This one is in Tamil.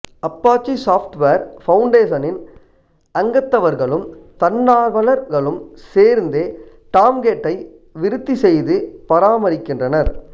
அப்பாச்சி சாப்ட்வேர் பவுண்டேசனின் அங்கத்தவர்களும் தன்னார்வலர்களும் சேர்ந்தே டாம்கேட்டை விருத்தி செய்து பராமரிக்கின்றனர்